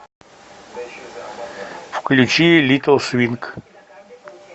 включи литл свинг